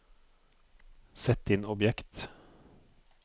sett inn objekt